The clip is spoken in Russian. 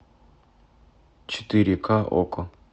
четыре ка окко